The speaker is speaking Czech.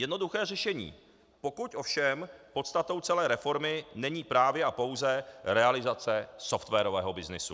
Jednoduché řešení, pokud ovšem podstatou celé reformy není právě a pouze realizace softwarového byznysu.